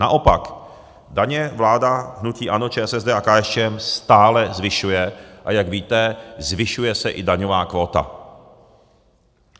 Naopak, daně vláda hnutí ANO, ČSSD a KSČM stále zvyšuje, a jak víte, zvyšuje se i daňová kvóta.